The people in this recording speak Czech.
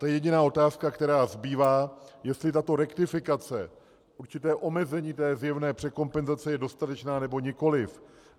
To je jediná otázka, která zbývá - jestli tato rektifikace, určité omezení té zjevné překompenzace, je dostatečná, nebo nikoliv.